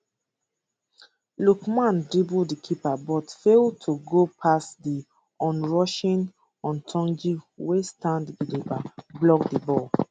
lookman dribble di keeper but fail to go past di onrushing houtoundji wey stand gidigba block di ball